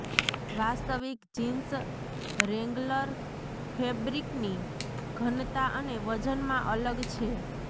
વાસ્તવિક jeans Wrangler ફેબ્રિકની ઘનતા અને વજનમાં અલગ છે